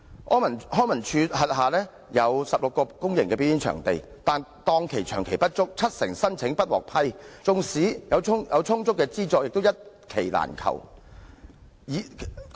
康樂及文化事務署轄下有16個公營表演場地，但檔期長期不足，七成申請不獲批，縱有充足資助亦難求一檔期。